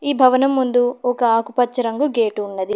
ఈ భవనం ముందు ఒక ఆకుపచ్చ రంగు గేటు ఉన్నది.